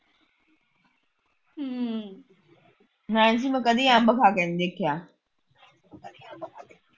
ਹੈ ਨਹੀਂ ਸੀ ਮੈ ਕਦੀ ਅੰਬ ਖਾ ਕੇ ਨਹੀਂ ਦੇਖਿਆ